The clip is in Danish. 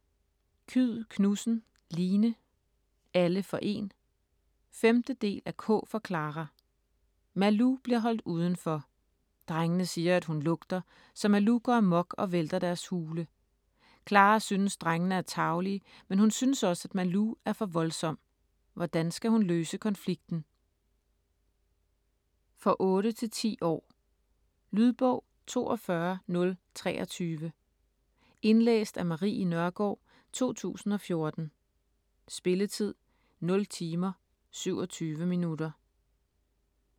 Kyed Knudsen, Line: Alle for én! 5. del af K for Klara. Malou bliver holdt uden for. Drengene siger, at hun lugter, så Malou går amok og vælter deres hule. Klara synes, drengene er tarvelige, men hun synes også, at Malou er for voldsom. Hvordan skal hun løse konflikten? For 8-10 år. Lydbog 42023 Indlæst af Marie Nørgaard, 2014. Spilletid: 0 timer, 27 minutter.